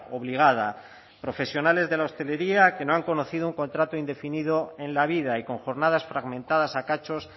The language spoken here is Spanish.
obligada profesionales de la hostelería que no han conocido un contrato indefinido en la vida y con jornadas fragmentadas a cachos